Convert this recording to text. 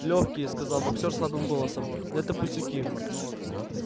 лёгкие сказал боксёр слабым голосом но это пустяки